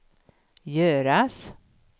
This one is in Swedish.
göras